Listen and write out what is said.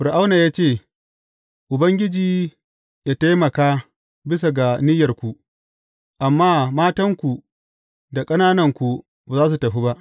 Fir’auna ya ce, Ubangiji ya taimaka bisa ga niyyarku, amma matanku da ƙanananku ba za su tafi ba!